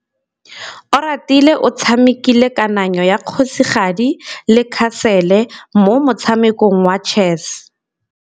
Oratile o tshamekile kananyô ya kgosigadi le khasêlê mo motshamekong wa chess.